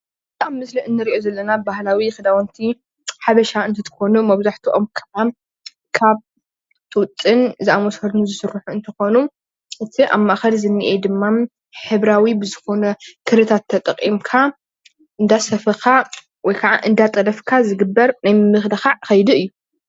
እዚ ኣብ ምስሊ እንሪኦ ዘለና ባህላዊ ኽዳውንቲ ሓበሻ እንትትኮኑ መብዛሕትኦም ከዓ ካብ ጡጥን ዝኣመሰሉ ዝስርሑ እንትኾኑ፣ እቲ ኣብ ማእከል ዘኒአ ድማ ሕብራዊ ብዝኾነ ክሪታት ተጠቂምካ እንዳሰፈኻ ወይከዓ እንደጠለፍካ ዝግበር ናይ ምምልኻዕ ከይዲ እዩ።